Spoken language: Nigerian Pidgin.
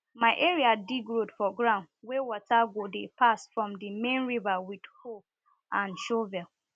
my area dig road for ground wey water go dey pass from di main river with hoe snd shovel